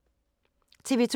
TV 2